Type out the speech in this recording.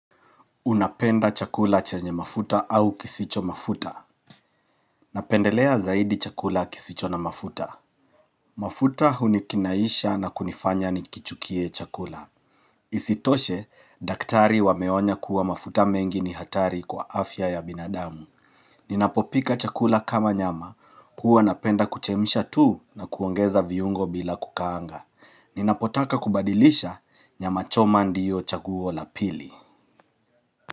Unapenda chakula chenye mafuta au kisicho mafuta Napendelea zaidi chakula kisicho na mafuta mafuta hunikinaisha na kunifanya nikichukie chakula Isitoshe, daktari wameonya kuwa mafuta mengi ni hatari kwa afya ya binadamu Ninapopika chakula kama nyama, kuwa napenda kuchemsha tu na kuongeza viungo bila kukaanga Ninapotaka kubadilisha, nyamachoma ndiyo chaguo la pili.